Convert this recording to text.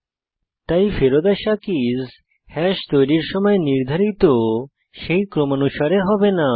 তাই ফেরত আসা কীস হ্যাশ তৈরীর সময় নির্ধারিত সেই ক্রমানুসারে হবে না